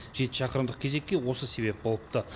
жеті шақырымдық кезекке осы себеп болыпты